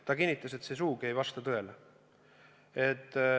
Ta kinnitas, et see sugugi ei vasta tõele.